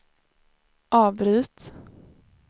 avbryt